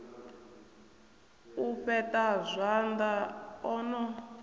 u fheṱa zwanḓa o no